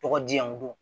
Tɔgɔ di yan dun